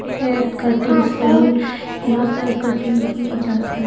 Hair कटाई से यहां पर कटाई की जाती है।